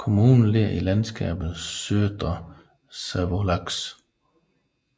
Kommunen ligger i landskabet Södra Savolax